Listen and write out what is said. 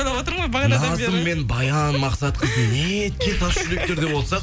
ойлап отырмын ғой бағанадан бері назым мен баян мақсатқызың неткен тас жүректер деп отсақ